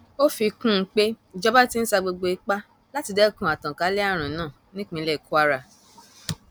ó fi kún un pé ìjọba ti ń sa gbogbo ipá láti dẹkun àtànkálẹ àrùn náà nípínlẹ kwara